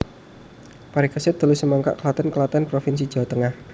Parikesit telu Semangkak Klaten Klaten provinsi Jawa Tengah